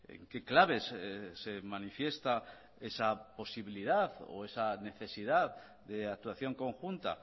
en qué claves se manifiesta esa posibilidad o esa necesidad de actuación conjunta